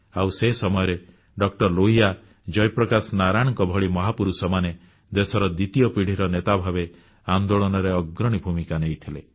ଆଉ ସେ ସମୟରେ ଡଃ ଲୋହିଆ ଜୟପ୍ରକାଶ ନାରାୟଣଙ୍କ ଭଳି ମହାପୁରୁଷମାନେ ଦେଶର ଦ୍ୱିତୀୟ ପିଢ଼ିର ନେତା ଭାବେ ଆନ୍ଦୋଳନରେ ଅଗ୍ରଣୀ ଭୂମିକା ନେଇଥିଲେ